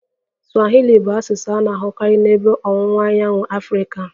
Swahili bụ asụsụ a na-ahụkarị n'Ebe Ọwụwa Anyanwụ Afrịka